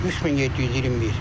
3721.